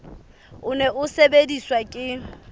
o ne o sebediswa ke